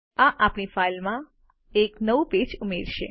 આ આપણી ફાઈલમાં એક નવું પેજ ઉમેરશે